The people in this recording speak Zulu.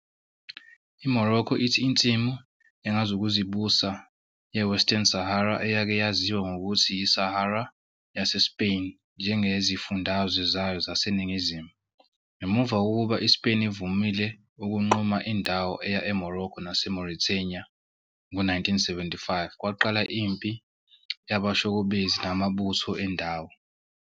IMorocco ithi insimu engazukuzibusa yeWestern Sahara, eyake yaziwa ngokuthi yiSahara yaseSpain, njengezifundazwe zayo zaseNingizimu. Ngemuva kokuba iSpain ivumile ukunquma indawo eya eMorocco naseMauritania ngo-1975, kwaqala impi yabashokobezi namabutho endawo.